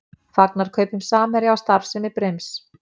Fagnar kaupum Samherja á starfsemi Brims